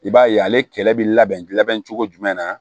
I b'a ye ale kɛlɛ bɛ labɛn labɛn cogo jumɛn na